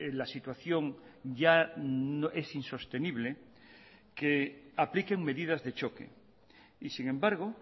la situación ya es insostenible que apliquen medidas de choque y sin embargo